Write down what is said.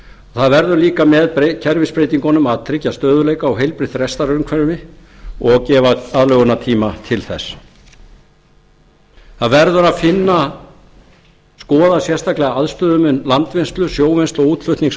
það verður líka með kerfisbreytingunum að tryggja stöðugleika og heilbrigt rekstrarumhverfi og gefa aðlögunartíma til þess það verður að skoða sérstaklega aðstöðumun landvinnslu sjóvinnslu og útflutnings á